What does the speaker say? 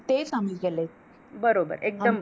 तेच आम्ही केलय.